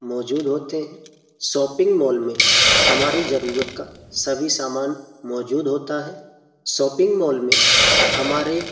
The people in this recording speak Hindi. मौजूद होते हैं। शॉपिंग मॉल में हमारी जरूरत का सभी सामान मौजूद होता है। शॉपिंग मॉल में हमारे --